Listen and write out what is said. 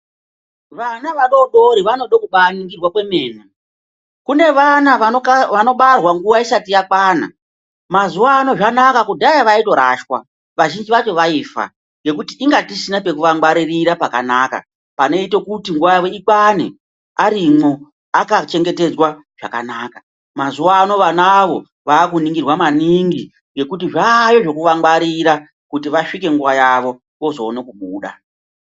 Vana vadodori vanode kubaningirwa kwemene kune vana vanobarwa nguva isati yakwana mazuva ano zvanaka kudhaya vaitoraswa vazhinji vacho vaifa nokuti tinga tisina pekuvangwaririra pakanaka. Panoite kuti nguva yavo ikwane arimwo akachengetedzwa zvakanaka. Mazuva ano vanavo vakuningirwa maningi ngekuti zvayo zvekuvangwarira kuti vasvike nguva yavo ozoona kubuda.